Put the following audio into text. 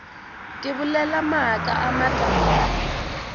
ke bolela maaka a matala